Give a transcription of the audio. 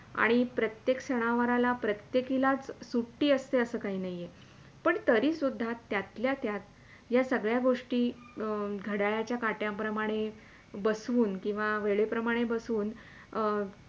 आणि प्रत्येक सनावाराला प्रत्येकिलाच सुट्टी असते असे काही नाहीये पण तरी सुदधा त्यातल्या त्यात सगळ्या गोष्टी घड्याळाच्या काट्या प्रमाणे बसवून किंवा वेळे प्रमाणे बसवूण अं